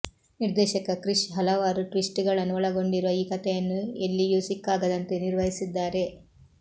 ನಿರ್ದೇಶಕ ಕ್ರಿಶ್ ಹಲವಾರು ಟ್ವಿಸ್ಟ್ ಗಳನ್ನು ಒಳಗೊಂಡಿರುವ ಈ ಕಥೆಯನ್ನು ಎಲ್ಲಿಯೂ ಸಿಕ್ಕಾಗದಂತೆ ನಿರ್ವಹಿಸಿದ್ದಾರೆ